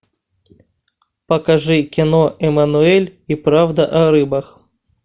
покажи кино эмануэль и правда о рыбах